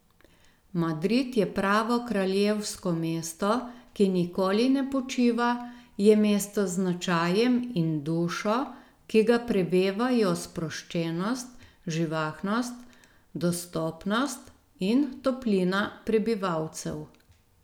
Madrid je pravo kraljevsko mesto, ki nikoli ne počiva, je mesto z značajem in dušo, ki ga prevevajo sproščenost, živahnost, dostopnost in toplina prebivalcev ...